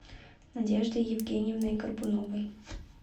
надеждой евгеньевной горбуновой